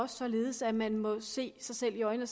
således at man må se sig selv i øjnene